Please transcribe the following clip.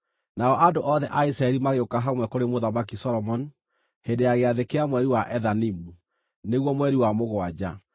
Nao andũ othe a Isiraeli magĩũka hamwe kũrĩ Mũthamaki Solomoni hĩndĩ ya gĩathĩ kĩa mweri wa Ethanimu, nĩguo mweri wa mũgwanja.